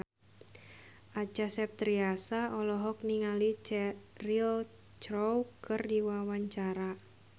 Acha Septriasa olohok ningali Cheryl Crow keur diwawancara